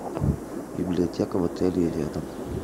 библиотека в отеле и рядом